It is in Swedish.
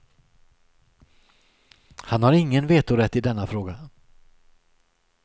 Han har ingen vetorätt i denna fråga.